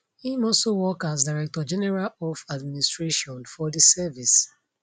im also work as director general of administration for di service